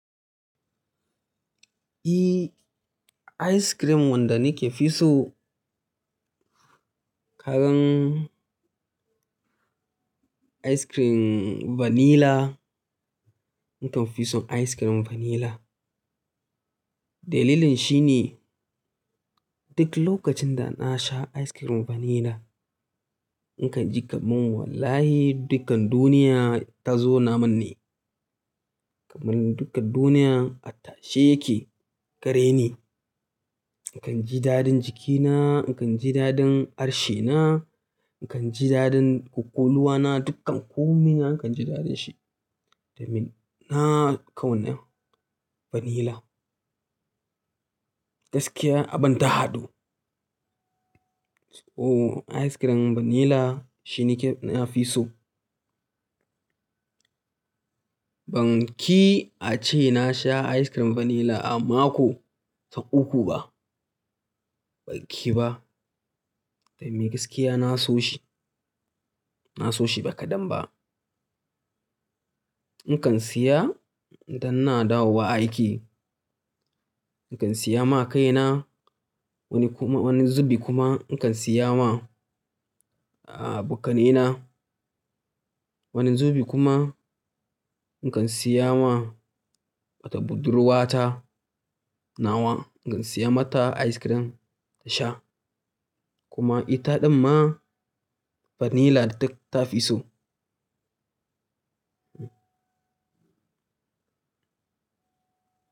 I, ice cream wanda nake fi so, kagan ice cream vanilla. Nakan fi son ice cream vanilla. Dalilin shi ne duk lokacin da na sha ice cream vanilla, in kan ji kamar wallahi dukkan duniya ta zauna min ne. Kamar dukkan duniya a tashe yake gare ni. In kan ji dadin jikina, in kan ji dadin harshe na, in kan ji dadin ƙwaƙwalwa na, dukkan komai na in kan ji dadin shi. Domin na kauna vanilla. Gaskiya abin ta hadu. Oh ice cream vanilla shi nake na fi so. Ban ƙi a ce na sha ice cream vanilla a mako sau uku ba, ban ƙi ba. Domin gaskiya na so shi, na so shi ba kadan ba. In kan siya idan ina dawo wa aiki, in kan siya ma kaina. Wani zubi kuma in kan siya ma, abokanaina wani zubi kuma in kan siya ma wato buddurwa ta nawa, in kan siya mata ice cream ta sha. Kuma ita ɗin ma vanilla da ta fi so.